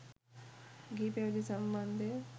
ගිහි පැවිදි සම්බන්ධය